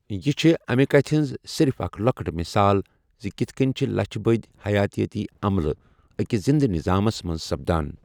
یہِ چھےٚ امہِ کَتھِ ہِنٛز صِرِف اَکھ لۄکٕٹ مِثال زِ کِتھ کٔنۍ چھِ لَچھِ بٔدۍ حیاتٲتی عملہٕ أکِس زِنٛدٕ نِظامس منٛز سپدان۔